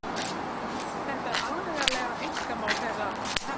Þetta er algerlega einkamál þeirra Hemma!